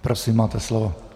Prosím, máte slovo.